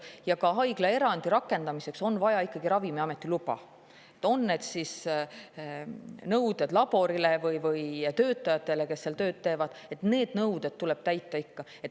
Ja haiglaerandi rakendamiseks on vaja ikkagi Ravimiameti luba, on need siis nõuded laborile või töötajatele, kes seal tööd teevad: need nõuded tuleb ikka täita.